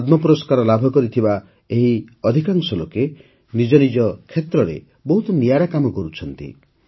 ପଦ୍ମ ପୁରସ୍କାର ଲାଭ କରିଥିବା ଏହି ଅଧିକାଂଶ ଲୋକେ ନିଜ ନିଜ କ୍ଷେତ୍ରରେ ବହୁତ ନିଆରା କାମ କରୁଛନ୍ତି